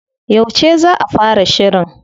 Yauce za a fara shirin?